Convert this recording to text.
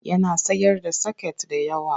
Yana sayar da soket da waya.